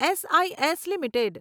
S I S limited